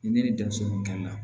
Ni ne ni denmisɛnnu kelen na